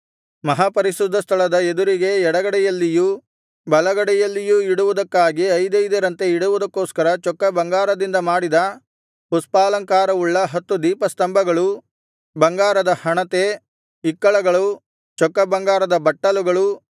ಮಹಾಪರಿಶುದ್ಧಸ್ಥಳದ ಎದುರಿಗೆ ಎಡಗಡೆಯಲ್ಲಿಯೂ ಬಲಗಡೆಯಲ್ಲಿಯೂ ಇಡುವುದಕ್ಕಾಗಿ ಐದೈದರಂತೆ ಇಡುವುದಕ್ಕೋಸ್ಕರ ಚೊಕ್ಕ ಬಂಗಾರದಿಂದ ಮಾಡಿದ ಪುಷ್ಪಾಲಂಕಾರವುಳ್ಳ ಹತ್ತು ದೀಪಸ್ತಂಭಗಳು ಬಂಗಾರದ ಹಣತೆ ಇಕ್ಕಳಗಳು ಚೊಕ್ಕ ಬಂಗಾರದ ಬಟ್ಟಲುಗಳು